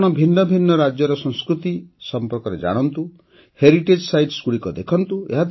ଆପଣ ଭିନ୍ନ ଭିନ୍ନ ରାଜ୍ୟର ସଂସ୍କୃତି ସମ୍ପର୍କରେ ଜାଣନ୍ତୁ ହେରିଟେଜ୍ ସାଇଟ୍ସଗୁଡ଼ିକୁ ଦେଖନ୍ତୁ